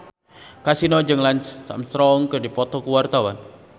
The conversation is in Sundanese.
Kasino jeung Lance Armstrong keur dipoto ku wartawan